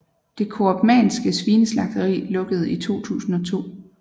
Det Koopmanske Svineslagteri lukkede i 2002